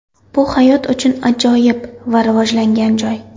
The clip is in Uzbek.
Bu hayot uchun ajoyib va rivojlangan joy.